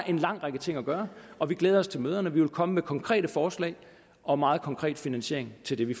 en lang række ting at gøre og vi glæder os til møderne vi vil komme med konkrete forslag og meget konkret finansiering til det vi